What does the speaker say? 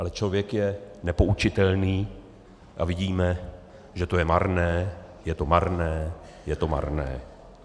Ale člověk je nepoučitelný a vidíme, že to je marné, je to marné, je to marné.